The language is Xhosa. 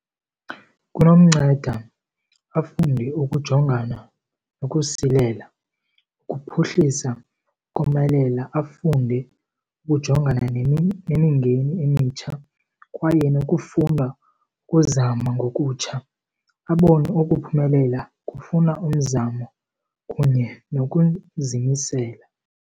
Kunomnceda afunde ukujongana nokusilela, ukuphuhlisa, ukomelela. Afunde ukujongana nemingeni emitsha kwaye nokufuna ukuzama ngokutsha. Abone ukuphumelela kufuna umzamo kunye nokuzimisela.